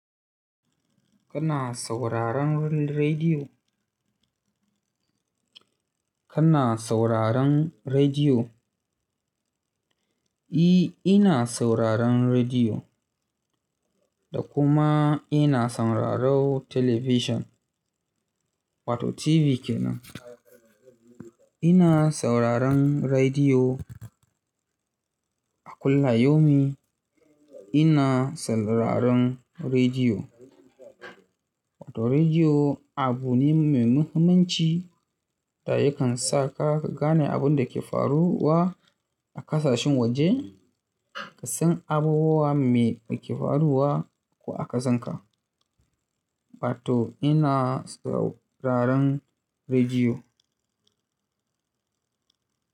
Kana sauraron rediyo? Kana sauraron rediyo? E, ina sauraron rediyo da kuma ina sauraron television, wato TV kenan. Ina sauraron rediyo a kullum-yomi. Ina sauraron rediyo wato rediyo abu ne mai muhimmanci, da yakan sa ka gane abin da ke faruwa a ƙasashen waje, ka san abubuwa me da ke faruwa ko a kasanka. Wato ina sauraron rediyo.